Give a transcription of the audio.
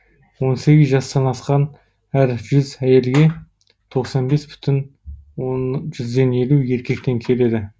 он сегіз жастан асқан әр жүз әйелге тоқсан бес бүтін жүзден елу еркектен келеді